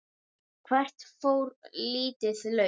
Hvert fór lítið lauf?